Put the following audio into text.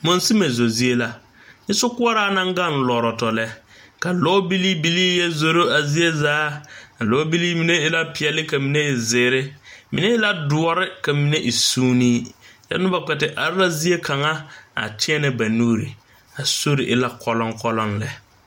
Monsime zo zie la nyɛ sokoɔraa naŋ gaŋ lɔrɔtɔ lɛ ka lɔɔbilii bilii yɛ zoro a zie zaa a lɔɔbilii mine e la peɛle ka mine e zeere mine e la doɔre ka mine e soonee kyɛ noba kpɛ te are la zie kaŋa a teɛnɛ ba nuuri a sori e la kɔlɔŋ kɔlɔŋ lɛ.